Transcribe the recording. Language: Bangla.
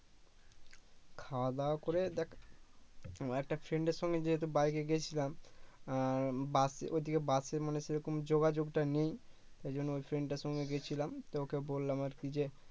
খাওয়া দাওয়া করে দেখ একটা friend সঙ্গে যেহেতু বাইকে গিয়েছিলাম আহ বাস ওদিকে বাসের মানে সেরকম যোগাযোগটা নেই এজন্য ওই friend র সঙ্গে গেছিলাম তো ও কে বললাম আরকি যে